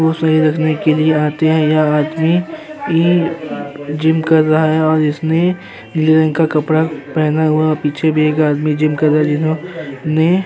बोहोत सही रखने की लिए आते हैं। यह आदमी यहीं जिम कर रहा है और इसने नीले रंग का कपड़ा पहना हुया। पीछे भी एक आदमी जिम कर ने --